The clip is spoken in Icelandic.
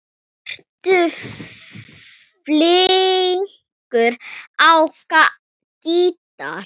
Ertu flinkur á gítar?